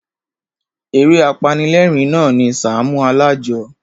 Eré apanilérìn na ni Sàámú Alájọ.